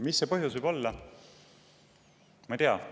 Mis selle põhjus võib olla?